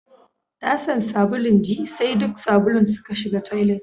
Tasan sabulun ji sai duk sabulun suka shiga toilet